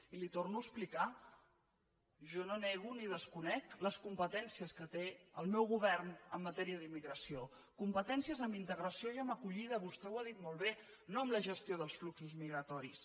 li ho torno a explicar jo no nego ni desconec les competències que té el meu govern en matèria d’immigració competències en integració i en acollida vostè ho ha dit molt bé no en la gestió dels fluxos migratoris